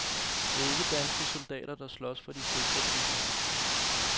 Det er ikke danske soldater, der skal slås for de sikre byer.